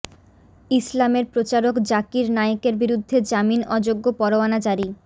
ইসলামের প্রচারক জাকির নায়েকের বিরুদ্ধে জামিন অযোগ্য পরোয়ানা জারি